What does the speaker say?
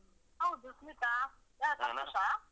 ಹೌದು ಸ್ಮಿತಾ. .